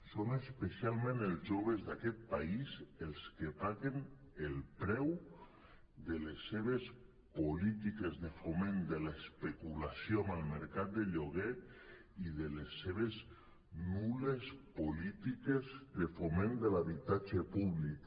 són especialment els joves d’aquest país els que paguen el preu de les seves polítiques de foment de l’especulació amb el mercat de lloguer i de les seves nul·les polítiques de foment de l’habitatge públic